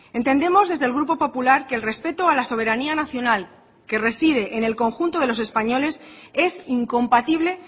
entendemos desde el grupo popular que el respeto a la soberanía nacional que reside en el conjunto de los españoles es incompatible